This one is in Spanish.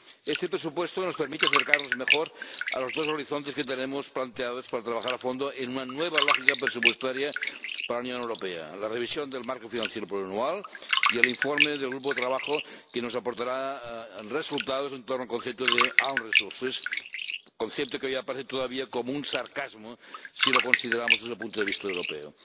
Este presupuesto nos permite acercarnos mejor a los dos horizontes que tenemos planteados para trabajar a fondo en una nueva lógica presupuestaria para la Unión Europea la revisión del marco financiero plurianual y el informe del grupo de trabajo que nos aportará resultados en torno al concepto de recursos propios, concepto que hoy aparece todavía como un sarcasmo si lo consideramos desde el punto de vista europeo.